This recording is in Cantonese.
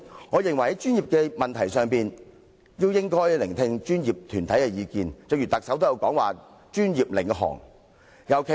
我認為在專業議題上，我們應聆聽專業團體的意見——連特首也提出了"專業領航"的理念。